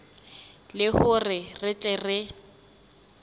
le hore re tle re